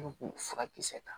k'u furakisɛ ta